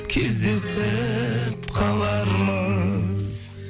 кездесіп қалармыз